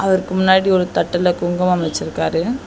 அவருக்கு முன்னாடி ஒரு தட்டுல குங்குமம் வெச்சிருக்காரு.